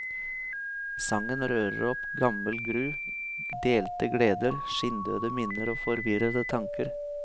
Sangen rører opp gammel gru, delte gleder, skinndøde minner og forvirrede tanker.